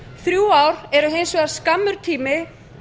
þrjú ár eru hins vegar skammur tími